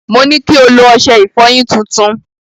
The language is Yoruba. Mo ní kí o lo ọṣẹ ìfọyín tuntun.